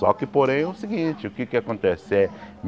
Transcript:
Só que, porém, é o seguinte, o que é que acontece? Eh